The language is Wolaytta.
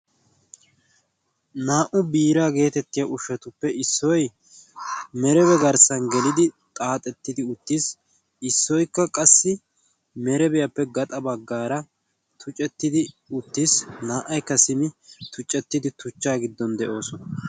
naa77u biiraa geetettiya ushshatuppe issoi merebe garssan gelidi xaaxettidi uttiis issoikka qassi merebiyaappe gaxa baggaara tucettidi uttiis. naa77aikka simmi tuccettidi tuchchaa giddon de7oosona.